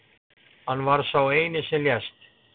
Hann var sá eini sem lést